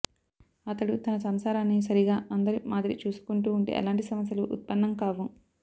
అతడు తన సంసారాన్ని సరిగా అందరి మాదిరి చూసుకుంటూ ఉంటే ఎలాంటి సమస్యలూ ఉత్పన్నం కావు